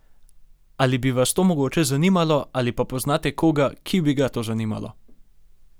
Ali bi vas to mogoče zanimalo ali pa poznate koga, ki bi ga to zanimalo?